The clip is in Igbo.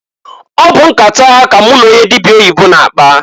Ọ bụ nkata a ka m n'onye dịbịa oyibo na-akpa.